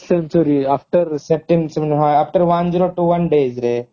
century after after one zero two days ରେ